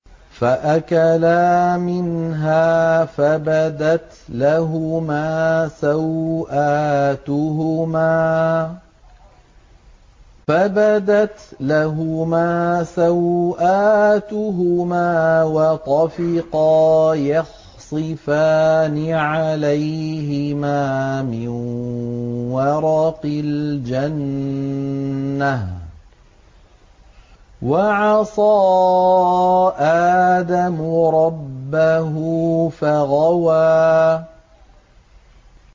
فَأَكَلَا مِنْهَا فَبَدَتْ لَهُمَا سَوْآتُهُمَا وَطَفِقَا يَخْصِفَانِ عَلَيْهِمَا مِن وَرَقِ الْجَنَّةِ ۚ وَعَصَىٰ آدَمُ رَبَّهُ فَغَوَىٰ